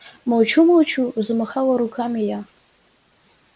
молчу-молчу замахала руками я